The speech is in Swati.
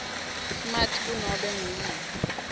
smart kunobe nguyiphi